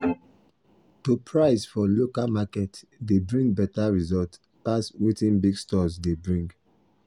to price for local market dey bring better result pass wetin big stores dey bring.